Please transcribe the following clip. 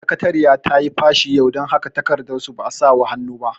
Sakatariya tayi fashi yau, dan haka takardar su ba a sawa hannu ba